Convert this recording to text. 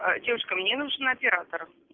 девушка мне нужен оператор